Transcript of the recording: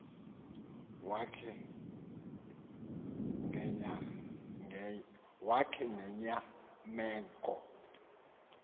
wakhe ngenya meko